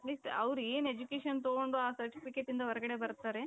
means ಅವರು ಏನ್ education ತಗೊಂಡು ಆ certificateಯಿಂದ ಹೊರಗಡೆ ಬರ್ತಾರೆ